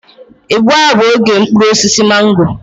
Igbu a bụ oge mkpụrụ osisi mango